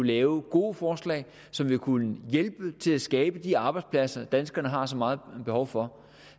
lave gode forslag som vil kunne hjælpe til at skabe de arbejdspladser danskerne har så meget behov for